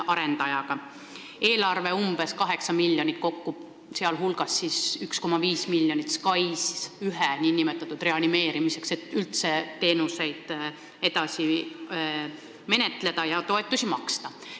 Eelarve on kokku umbes 8 miljonit, sh 1,5 miljonit SKAIS1 nn reanimeerimiseks, et saaks üldse teenuseid edasi menetleda ja toetusi maksta.